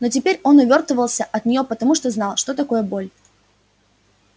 но теперь он увёртывался от неё потому что знал что такое боль